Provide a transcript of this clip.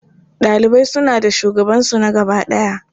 Ɗalibai suna da shugabansu na gaba ɗaya.